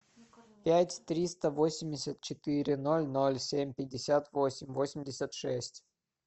пять триста восемьдесят четыре ноль ноль семь пятьдесят восемь восемьдесят шесть